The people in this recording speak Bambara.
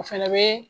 O fɛnɛ bɛ